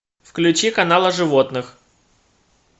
включи канал о животных